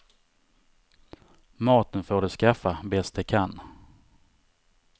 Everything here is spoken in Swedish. Maten får de skaffa bäst de kan.